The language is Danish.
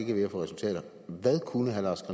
er ved at få resultater hvad kunne herre lars